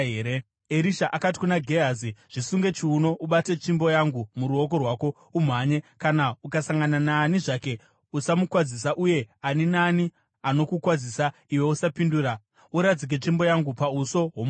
Erisha akati kuna Gehazi, “Zvisunge chiuno ubate tsvimbo yangu muruoko rwako umhanye. Kana ukasangana naani zvake, usamukwazisa, uye ani naani anokukwazisa, iwe usapindura. Uradzike tsvimbo yangu pauso hwomukomana.”